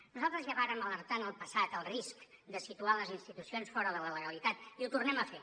nosaltres ja vàrem alertar en el passat del risc de situar les institucions fora de la legalitat i ho tornem a fer